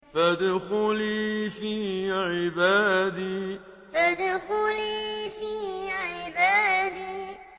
فَادْخُلِي فِي عِبَادِي فَادْخُلِي فِي عِبَادِي